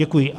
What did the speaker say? Děkuji.